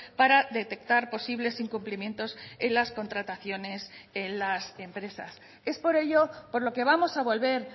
para detectar posibles incumplimientos en las contrataciones en las empresas es por ello por lo que vamos a volver